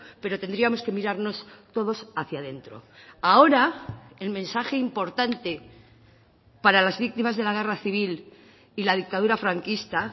pero tendríamos que mirarnos todos hacia dentro ahora el mensaje importante para las víctimas de la guerra civil y la dictadura franquista